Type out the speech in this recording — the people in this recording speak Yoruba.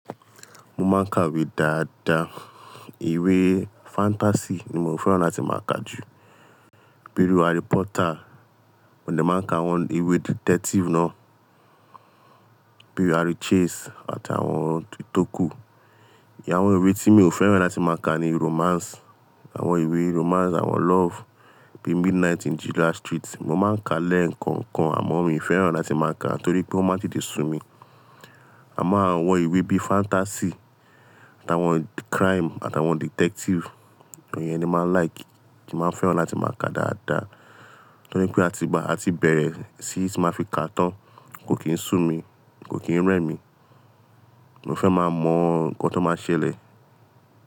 Mo máa ń ka ìwé dáadáa. Ìwé fantasi ni mo fẹ́ràn láti máa ka jù, bíi Harry Potter. Mo lè máa ka àwọn ìwé detektif náà, bíi Harry Chase àti àwọn ti tókù. Ìyẹn àwọn ìwé tí mi ò fẹ́ràn láti máa ka ni romans, àwọn ìwé romans, àwọn lof, bíi Midnight in the Last Street. Mo máa ń ka lẹ́ẹ̀kan kan àmọ́ mi ò fẹ́ràn láti máa ka á, torí pé ó máa ń tíì dé sú mi. Àmọ́ àwọn ìwé bí fantasi àtàwọn kraim àtàwọn detektif, àwọn èyí ni màá like, kí màá fẹ́ràn láti máa ka dáadáa. Torí pé a ti ba, a ti bẹ̀rẹ̀ síí máa fi ka tán, kò kì í sú mi, kò kì í rẹ́ mi. Mo fẹ́ máa mọ nǹkan tó máa ṣẹlẹ̀.